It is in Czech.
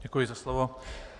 Děkuji za slovo.